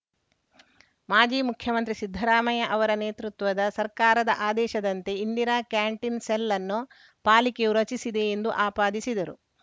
ಮಾಜಿ ಮುಖ್ಯಮಂತ್ರಿ ಸಿದ್ದರಾಮಯ್ಯ ನೇತೃತ್ವದ ಸರ್ಕಾರದ ಆದೇಶದಂತೆ ಇಂದಿರಾ ಕ್ಯಾಟೀನ್‌ ಸೆಲ್‌ಅನ್ನು ಪಾಲಿಕೆಯು ರಚಿಸಿದೆ ಎಂದು ಆಪಾದಿಸಿದರು